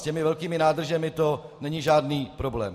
S těmi velkými nádržemi to není žádný problém.